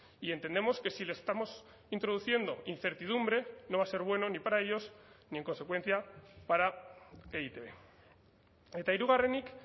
y entendemos que si le estamos introduciendo incertidumbre no va a ser bueno ni para ellos ni en consecuencia para e i te be eta hirugarrenik